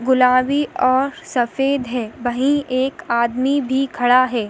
गुलाबी और सफ़ेद है वही एक आदमी भी खड़ा है।